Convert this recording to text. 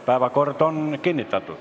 Päevakord on kinnitatud.